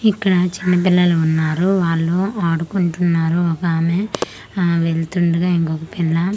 ఇక్కడ చిన్న పిల్లలు ఉన్నారు వాలు అడుకుంటున్నారు ఒక ఆమె ఆ వెళ్తుండగా ఇంకొక్క పిల్ల ఆ.